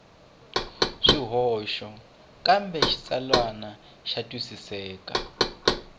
swihoxo kambe xitsalwana xa twisiseka